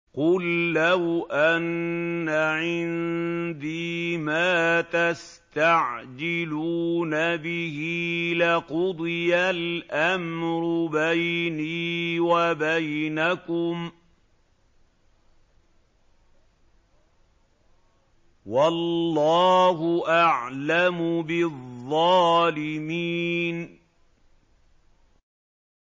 قُل لَّوْ أَنَّ عِندِي مَا تَسْتَعْجِلُونَ بِهِ لَقُضِيَ الْأَمْرُ بَيْنِي وَبَيْنَكُمْ ۗ وَاللَّهُ أَعْلَمُ بِالظَّالِمِينَ